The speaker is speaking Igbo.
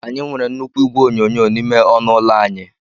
Anyị nwere nnukwu igwe onyonyo n'ime ọnụ ụlọ anyị.